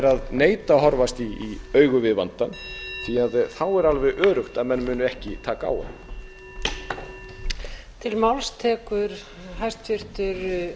að neita að horfast í augu við vandann því þá er alveg öruggt að menn munu ekki taka á honum